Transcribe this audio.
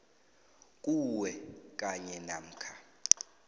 kuwe kanye namkha